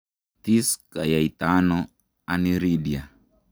Tis kinyaita ano Aniridia?